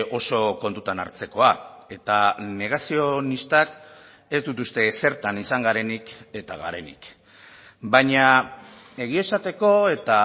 oso kontutan hartzekoa eta negazionistak ez dut uste zertan izan garenik eta garenik baina egia esateko eta